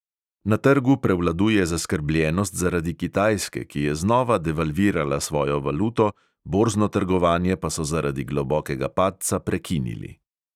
Na trgu prevladuje zaskrbljenost zaradi kitajske, ki je znova devalvirala svojo valuto, borzno trgovanje pa so zaradi globokega padca prekinili.